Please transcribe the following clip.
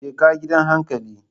Jeka gidan hankali.